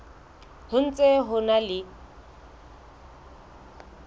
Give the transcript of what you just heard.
ho ntse ho na le